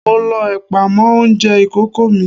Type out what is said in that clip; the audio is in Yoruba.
Mo lọ ẹ̀pà mọ́ oúnjẹ ìkókó mi.